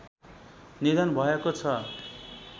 निधन भएको छ